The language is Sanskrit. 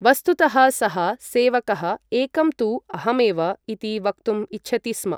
वस्तुतः सः सेवकःएकं तु अहमेव इति वक्तुम् इच्छति स्म।